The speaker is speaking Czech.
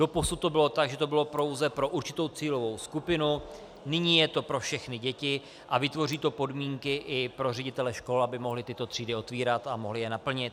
Doposud to bylo tak, že to bylo pouze pro určitou cílovou skupinu, nyní je to pro všechny děti a vytvoří to podmínky i pro ředitele škol, aby mohli tyto třídy otevírat a mohli je naplnit.